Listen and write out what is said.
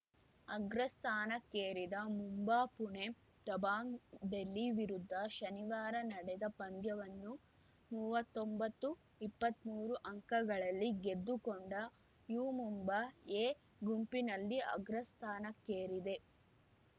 ಅಗ್ರಸ್ಥಾನಕ್ಕೇರಿದ ಮುಂಬಾ ಪುಣೆ ದಬಾಂಗ್‌ ಡೆಲ್ಲಿ ವಿರುದ್ಧ ಶನಿವಾರ ನಡೆದ ಪಂದ್ಯವನ್ನು ಮೂವತ್ತೊಂಬತ್ತುಇಪ್ಪತ್ಮೂರು ಅಂಕಗಳಲ್ಲಿ ಗೆದ್ದುಕೊಂಡ ಯು ಮುಂಬಾ ಎ ಗುಂಪಿನಲ್ಲಿ ಅಗ್ರಸ್ಥಾನಕ್ಕೇರಿದೆ